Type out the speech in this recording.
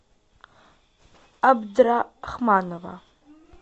абдрахманова